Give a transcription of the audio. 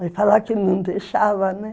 Vai falar que não deixava, né?